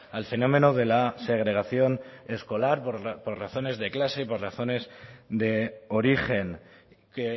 al fenómeno de la segregación escolar por razones de clase y por razones de origen que